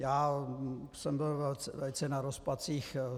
Já jsem byl velice na rozpacích.